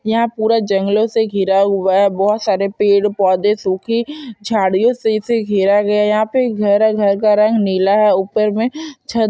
यहाँ पूरा जंगलो से घिरा हुआ है बहुत सारे पेड़ पोधे सुखी झाड़ियों से इसे घेरा गया है यहाँ पे एक घर है घर का रंग नीला है ऊपर में छत--